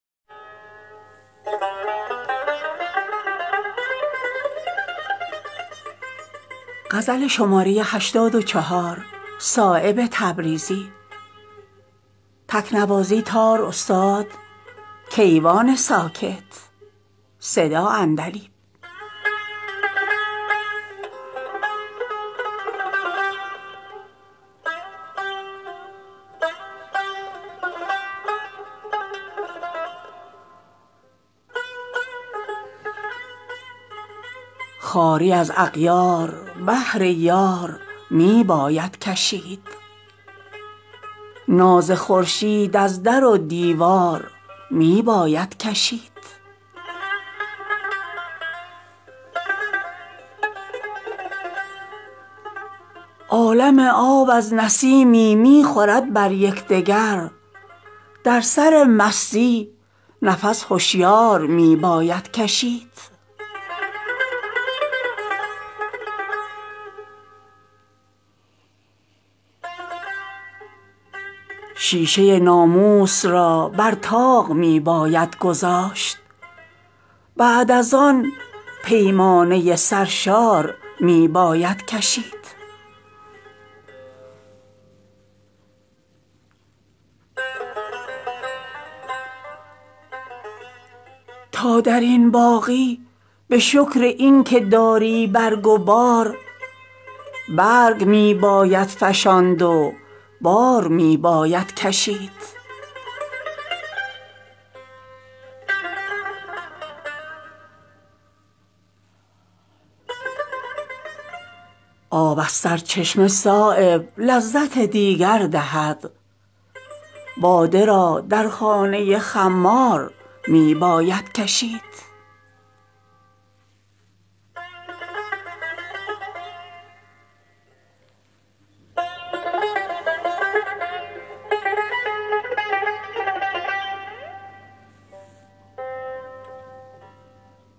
خواری از اغیار بهر یار می باید کشید ناز خورشید از در و دیوار می باید کشید از زمین شور آب تلخ می آید برون بی دماغان را زخود آزار می باید کشید نیست بوی آشنا را تاب غربت بیش ازین از نسیم صبح بوی یار می باید کشید یا چو مردان گام می باید زدن در راه عشق یا ز پای رهنوردان خار می باید کشید روزگاری شد که خون بلبلان افسرده است ناله گرمی درین گلزار می باید کشید به زهمواری سلاحی نیست در الزام خصم با نمد دندان ز کام مار می باید کشید روی تلخ بحر را گوهر تلافی می کند تلخی از معشوق شیرین کار می باید کشید جان ز سنگ و دل ز آهن کن که با نازکدلی زحمت خار از گل بی خار می باید کشید هر نگاهی محرم رنگ لطیف عشق نیست پرده ای از اشک بر رخسار می باید کشید بوی گل را می کند افزون هجوم برگ گل پرده کمتر بر رخ اسرار می باید کشید تا درین باغی به شکر این که داری برگ و بار برگ می باید فشاند و بار می باید کشید هر که را صایب متاع یوسفی دربار هست از هجوم مشتری آزار می باید کشید